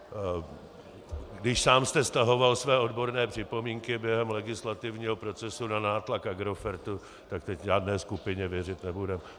Když sám jste stahoval své odborné připomínky během legislativního procesu na nátlak Agrofertu, tak teď žádné skupině věřit nebudeme.